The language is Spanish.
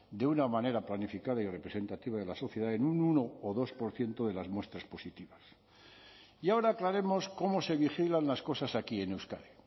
de una manera planificada y representativa de la sociedad en un uno o dos por ciento de las muestras positivas y ahora aclaremos cómo se vigilan las cosas aquí en euskadi